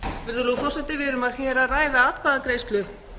virðulegur forseti við erum hér að ræða atkvæðagreiðslu